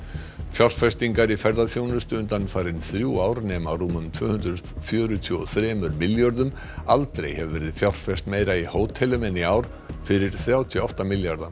fjárfestingar í ferðaþjónustu undanfarin þrjú ár nema rúmum tvö hundruð fjörutíu og þrem milljörðum aldrei hefur verið fjárfest meira í hótelum en í ár fyrir þrjátíu og átta milljarða